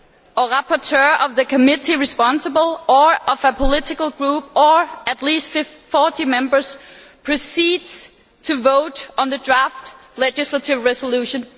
or rapporteur of the committee responsible or of a political group or at least 40 Members, proceeds to vote on the draft legislative resolution'.